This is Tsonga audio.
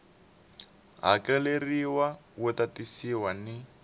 hakeleriwa wu ta tisiwa ni